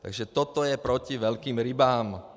Takže toto je proti velkým rybám.